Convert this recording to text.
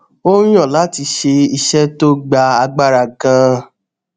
ó yàn láti ṣe iṣé tó gba agbára ganan